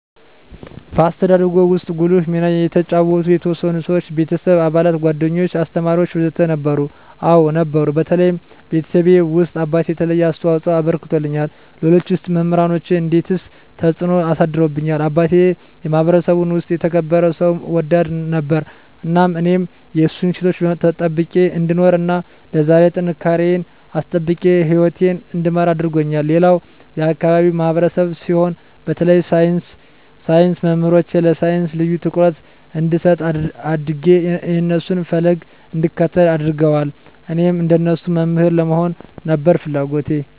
በአስተዳደግዎ ውስጥ ጉልህ ሚና የተጫወቱ የተወሰኑ ሰዎች (የቤተሰብ አባላት፣ ጓደኞች፣ አስተማሪዎች ወዘተ) ነበሩ? አዎ ነበሩ በተለይ ቤተሰቤ ውስጥ አባቴ የተለየ አስተዋፅኦ አበርክቶልኛል ሌሎች ውስጥ መምራኖቼ እንዴትስ ተጽዕኖ አሳድረውብዎታል አባቴ የማህበረሰቡ ውስጥ የተከበረ ሰው ወዳድ ነበር እናም እኔም የእሱን እሴቶች ጠብቄ እንድኖር እና ለዛሬ ጥንካሬየን አስጠብቄ ህይወቴን እንድመራ አድርጎኛል ሌላም የአካባቢው ማህበረሰብ ሲሆን በተለይ የሳይንስ መምህሮቼ ለሳይንስ ልዬ ትኩረት እንድሰጥ አድጌ የእነሱን ፈለግ እንድከተል አድርገዋል እኔም እንደነሱ መምህር ለመሆን ነበር ፍለጎቴ